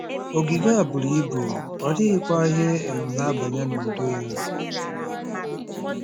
Ogige a buru ibu, ọ dịghịkwa ihe um na-abanye n'udo ya.